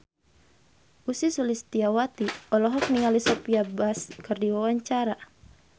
Ussy Sulistyawati olohok ningali Sophia Bush keur diwawancara